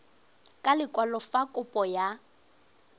ka lekwalo fa kopo ya